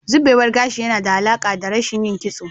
Zubewar gashi na da alaƙa da rashin yin kitso.